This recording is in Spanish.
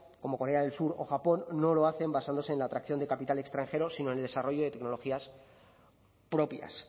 como corea del sur o japón no lo hacen basándose en la atracción de capital extranjero sino en el desarrollo de tecnologías propias